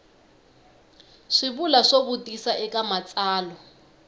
swivulwa swo vutisa eka matsalwa